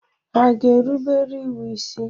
Hà ga-erubere iwu isi?